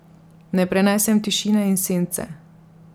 Ne prenesem tišine in sence.